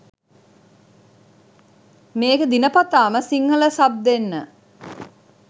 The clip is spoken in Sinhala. මේකේ දිනපතාම සිංහල සබ් දෙන්න